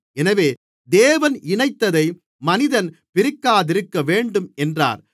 எனவே தேவன் இணைத்ததை மனிதன் பிரிக்காதிருக்கவேண்டும் என்றார்